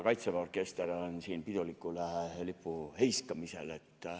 Kaitseväe orkester on siin pidulikul lipuheiskamisel.